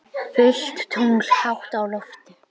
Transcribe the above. Fullt tungl hátt á lofti.